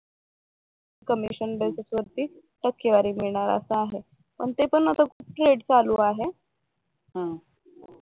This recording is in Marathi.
कमिशन बेसिस वरती क्यूआर मिळणार असं आहे पण ते पण आता थेट चालू आहे पण, नाही कसं होत